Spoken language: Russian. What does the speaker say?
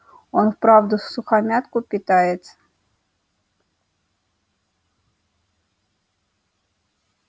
он правда всухомятку питается